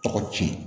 Tɔgɔ ci